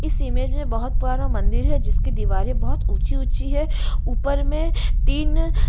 इस इमेज में बहौत पुराना मंदिर है जिसकी दीवारें बहौत ऊँची-ऊँची हैं ऊपर में तीन --